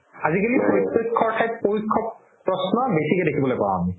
আজিকালি প্ৰত্যেকখৰ থাইত প্ৰশ্ন বেচিকে দেখিবলৈ পাও আমি